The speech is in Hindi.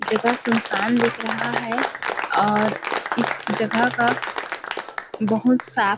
जगह सुनसान दिख रहा है और इस जगह का बहुत सा-- .